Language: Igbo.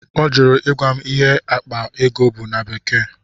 Ọ jụrụ ịgwa m ịhe akpa ego bụ na bekee.